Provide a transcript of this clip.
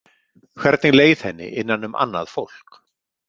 Hvernig leið henni innan um annað fólk?